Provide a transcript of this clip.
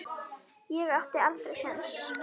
Ég átti aldrei séns.